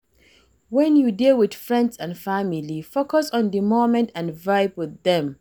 When you dey with friends and family, focus on di moment and vibe with dem